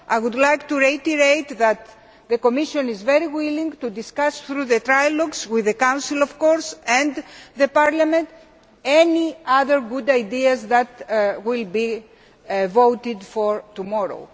I would like to reiterate that the Commission is very willing to discuss, through the trialogues with the Council, and with Parliament, any other good ideas that will be voted on tomorrow.